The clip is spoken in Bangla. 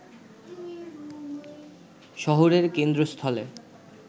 শহরের কেন্দ্রস্থলে